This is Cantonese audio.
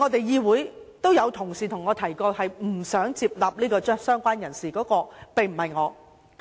議會內也有同事向我反映，不想接納加入"相關人士"，而這個人並非我本人。